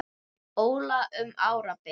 Óla um árabil.